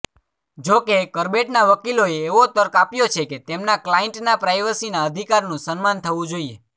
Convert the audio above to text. જો કે કરબેટના વકીલોએ એવો તર્ક આપ્યો કે તેમના ક્લાયન્ટના પ્રાઈવસીના અધિકારનું સન્માન થવું જોઈએ